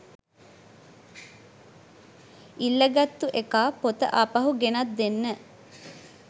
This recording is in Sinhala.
ඉල්ලගත්තු එකා පොත ආපහු ගෙනත් දෙන්න